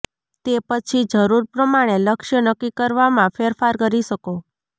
તે પછી જરૂર પ્રમાણે લક્ષ્ય નક્કી કરવામાં ફેરફાર કરી શકો